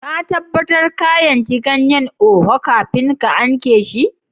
Ka tabatar ka yanki ganyen oha kafin ka Anke shi?